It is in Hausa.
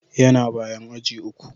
Yana bayan aji uku.